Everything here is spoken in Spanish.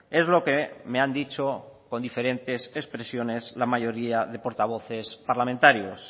es lo que me han dicho con diferentes expresiones la mayoría de portavoces parlamentarios